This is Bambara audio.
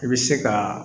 I bɛ se ka